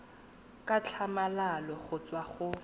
ka tlhamalalo go tswa mo